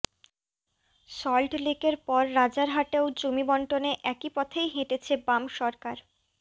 সল্টলেকের পর রাজারহাটেও জমি বন্টনে একই পথেই হেঁটেছে বাম সরকার